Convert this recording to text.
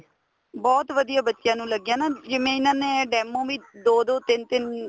ਬਹੁਤ ਵਧੀਆ ਬੱਚਿਆਂ ਨੂੰ ਲੱਗਿਆ ਨਾ ਜਿਵੇਂ ਇਹਨਾ ਨੇ ਦਮੋ ਵੀ ਦੋ ਦੋ ਤਿੰਨ ਤਿੰਨ